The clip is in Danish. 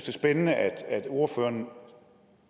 er spændende at ordføreren